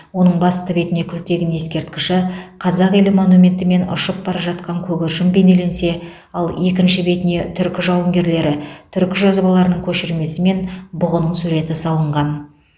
оның басты бетіне күлтегін ескерткіші қазақ елі монументі мен ұшып бара жатқан көгершін бейнеленсе ал екінші бетіне түркі жауынгерлері түркі жазбаларының көшірмесі мен бұғының суреті салынған